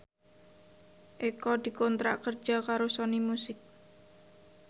Eko dikontrak kerja karo Sony Music